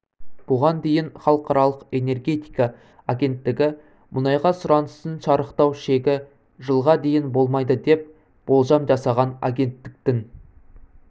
бұған дейін халықаралық энергетика агенттігі мұнайға сұраныстың шарықтау шегі жылға дейін болмайды деп болжам жасаған агенттіктің